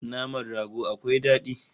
Naman rago akwai dadi